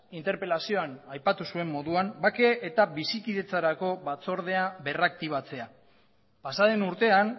interpelazioan aipatu zuen moduan bake eta bizikidetzarako batzordea berraktibatzea pasaden urtean